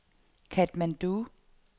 Katmandu